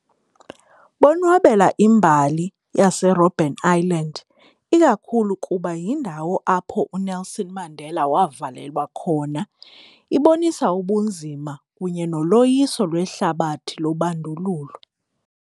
Bonwabela imbali yaseRobben Island ikakhulu kuba yindawo apho uNelson Mandela wavalelwa khona, ibonisa ubunzima kunye noloyiso lwehlabathi lobandululo.